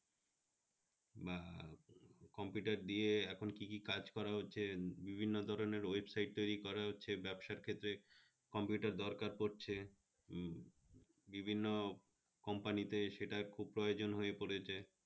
বা computer দিয়ে এখন কি কি কাজ করা হচ্ছে বিভিন্ন ধরনের website তৈরি করা হচ্ছে ব্যবসার ক্ষেত্রে computer দরকার পড়ছে বিভিন্ন company তে সেটা খুব প্রয়োজন হয়ে পড়েছে